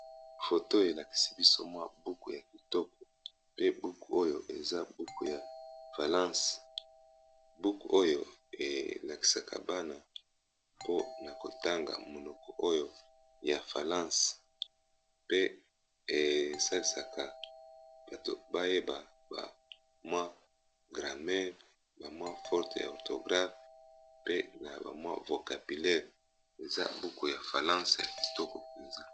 Photo elakisi biso mwa buku ya kitoko pe buku oyo eza buku ya falence buku oyo elakisaka bana mpona kotanga monoko oyo ya falance pe esalisaka bato bayeba bamwi grame bamwa forte ya orthographe pe na bamwi vocapillele eza buku ya falance ya kitoko pinzila.